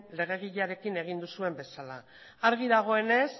legediarekin egin duzuen bezala argi dagoenez